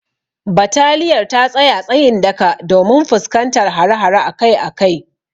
Bataliyar ta tsaya tsayin daka domin fuskantar hare-hare akai akai.